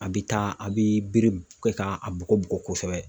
A bɛ taa ,a bɛ bere kɛ k'a bugɔ bugɔ kosɛbɛ.